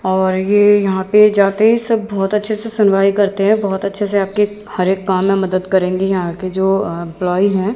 और ये यहां पे जाते ही सब बहोत अच्छे से सुनवाई करते है बहोत अच्छे से आपकी हर एक काम में मदद करेंगे यहां की जो अ एंप्लॉई है।